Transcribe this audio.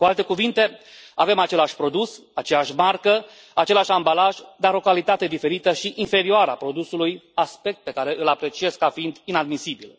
Cu alte cuvinte, avem același produs, aceeași marcă, același ambalaj, dar o calitate diferită și inferioară a produsului, aspect pe care îl apreciez ca fiind inadmisibil.